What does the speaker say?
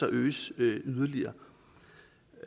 øges yderligere